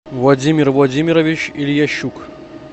владимир владимирович ильящук